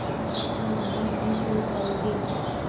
तुम इतना लम्बा नहीं चल पाओगे